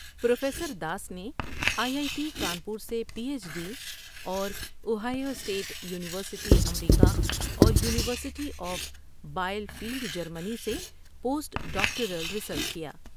Professor Das نے I I T Kanpur سے P H D اور اوہیو اسٹیٹ یونیورسٹی امریکہ اور یونیورسٹی آف بائل فیلڈ جرمنی سے پوسٹ ڈاکٹورل ریسرچ کیا ۔